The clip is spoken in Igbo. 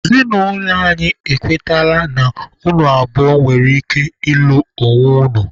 Ezinụlọ anyị ekwetala na unu abụọ nwere ike ịlụ onwe unu.